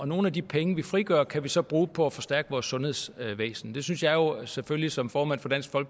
nogle af de penge vi frigør kan vi så bruge på at forstærke vores sundhedsvæsen det synes jeg jo selvfølgelig som formand for dansk